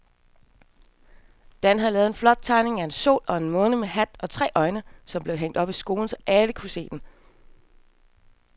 Dan havde lavet en flot tegning af en sol og en måne med hat og tre øjne, som blev hængt op i skolen, så alle kunne se den.